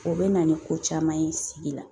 O bɛ na ni ko caman ye sigi la